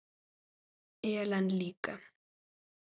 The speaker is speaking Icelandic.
Ellen líka.